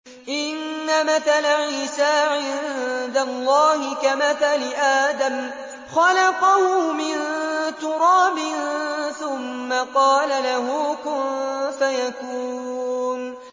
إِنَّ مَثَلَ عِيسَىٰ عِندَ اللَّهِ كَمَثَلِ آدَمَ ۖ خَلَقَهُ مِن تُرَابٍ ثُمَّ قَالَ لَهُ كُن فَيَكُونُ